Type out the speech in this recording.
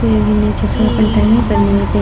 कोय अभी ने छै सब अपन टाइमे पर ने एते।